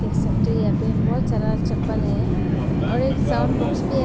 सब तो यहां पे बहुत सारा चप्पल है और एक साउंड बॉक्स भी है।